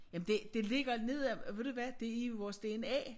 Jamen det det ligger nede ved du hvad det i vores dna